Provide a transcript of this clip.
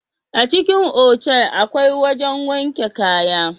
A cikin otal akwai wajen wanke kaya